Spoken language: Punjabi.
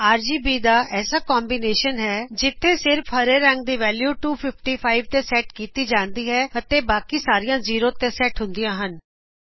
ਇਕ ਆਰਬੀਜੀ ਦਾ ਐਸਾ ਕੋਮਬੀਨੇਸ਼ਨ ਹੈ ਜਿਥੇ ਸਿਰਫ ਹਰੇ ਰੰਗ ਦੀ ਵੈਲੂ 255 ਤੇ ਸੈਟ ਕਿਤੀ ਜਾਂਦੀ ਹੈ ਅਤੇ ਬਾਕੀ ਸਾਰੀਆਂ 0 ਤੇ ਸੈਟ ਹੁੰਦਿਆਂ ਹਨ